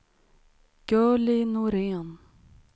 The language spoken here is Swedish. Gurli Norén